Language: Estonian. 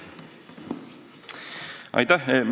Aitäh!